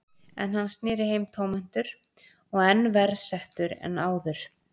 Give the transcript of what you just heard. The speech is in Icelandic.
En hann sneri heim tómhentur og enn verr settur en áður.